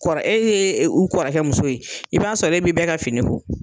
kɔrɔ e ye u kɔrɔkɛ muso ye i b'a sɔrɔ e bɛ bɛɛ ka fini ko.